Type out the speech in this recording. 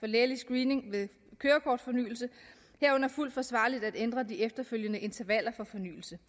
lægelig screening ved kørekortfornyelse herunder fuldt forsvarligt at ændre de efterfølgende intervaller for fornyelse